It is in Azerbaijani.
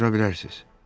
Buyura bilərsiz.